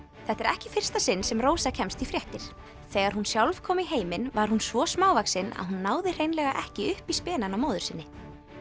þetta er ekki í fyrsta sinn sem Rósa kemst í fréttir þegar hún sjálf kom í heiminn var hún svo smávaxin að hún náði hreinlega ekki upp í spenann á móður sinni